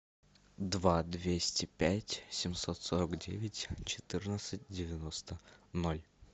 два двести пять семьсот сорок девять четырнадцать девяносто ноль